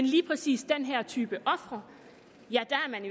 lige præcis den her type ofre